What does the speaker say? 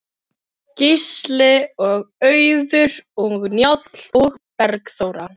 Gísli og Auður og Njáll og Bergþóra.